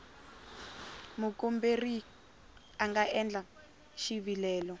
mukomberi a nga endla xivilelo